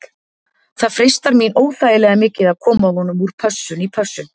Það freistar mín óþægilega mikið að koma honum úr pössun í pössun.